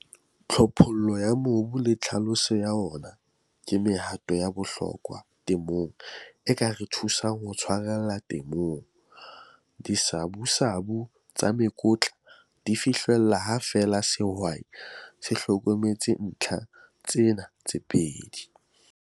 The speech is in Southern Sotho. Tlhophollo ya mobu le tlhaloso ya wona ke mehato ya bohlokwa temong e ka re thusang ho tshwarella temong. Disabusabu tsa mekotla di fihlellwa ha feela sehwai se hlokometse ntlha tsena tse pedi.